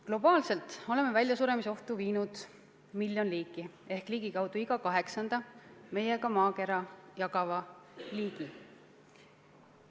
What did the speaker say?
Globaalselt oleme väljasuremisohtu viinud miljon liiki ehk ligikaudu iga kaheksanda meiega maakera jagava liigi.